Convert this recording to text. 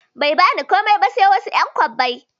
Bai bani komai ba sai wasu ƴan kwabbai